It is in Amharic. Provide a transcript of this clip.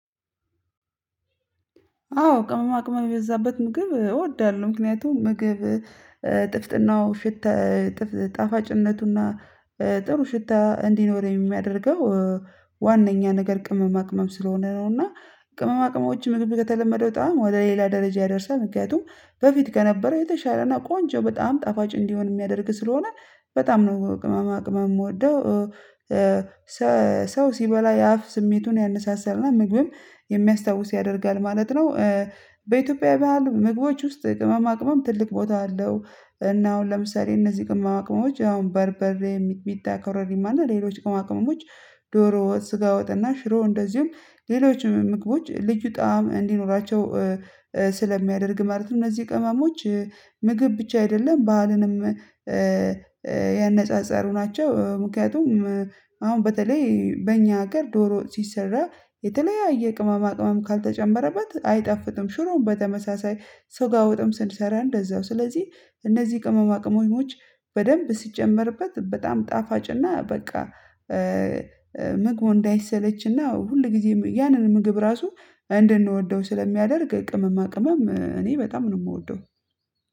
አዎ ቅመማ ቅመማ የበዛበት ምግብ እወዳለሁ ምክንያቱም ምግብ ጥፍጥናው ሽታ ጣፋጭነቱና ጥሩ ሽታ እንዲኖር የሚያደርገው ዋነኛ ነገር ቅመማ ቅመም ስለሆነ ነው እና ቅመማ ቅመሞች ምግብ ከተለመደው በጣም ወደ ሌላ ደረጃ ያደርሳል ምክንያቱም በፊት ከነበረው የተሻለና ቆንጆ በጣም ጣፋጭ እንዲሆን የሚያደርግ ስለሆነ በጣም ነው ቅመማ ቅመም የምወደው ሰው ሲበላ የአፍ ስሜቱን ያነሳሳልና ምግብም የሚያስታውስ ያደርጋል ማለት ነው። በኢትዮጵያ በሀል ምግቦች ውስጥ ቅመማ ቅመም ትልቅ ቦታ አለው እና አሁን ለምሳሌ እነዚህ ቅመማ ቅመሞች አሁን በርበሬ ሚጥሚጣ ኮረሪማ እና ሌሎች ቅመማ ቅመሞች ዶሮ ወጥ ስጋ ወጥና ሽሮ እንደዚሁም ሌሎች ምግቦች ልዩ ጣዕም እንዲኖራቸው ስለሚያደርግ ማለት ነው። እነዚህ ቅመሞች ምግብ ብቻ አይደለም ባህልንም ያነጻጸሩ ናቸው። ምክንያቱም አሁን በተለይ በእኛ ሀገር ዶሮ ሲሰራ የተለያየ ቅመማ ቅመም ካልተጨመረባት አይጣፍጥም ሽሮ በተመሳሳይ ስጋ ወጥም ስንሰራ እንደዛው ስለዚህ እነዚህ ቅመማ ቅመሞች በደንብ ስጨምርበት በጣም ጣፋጭና በቃ ምግቡ እንዳይሰለችና ሁል ጊዜ ያንን ምግብ ራሱ እንድንወደው ስለሚያደርግ ቅመማ ቅመም እኔ በጣም ነው የምወደው።